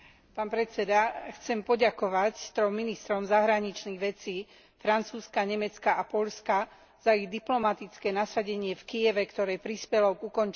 Chcem poďakovať trom ministrom zahraničných vecí Francúzska, Nemecka a Poľska za ich diplomatické nasadenie v Kyjeve, ktoré prispelo k ukončeniu násilia.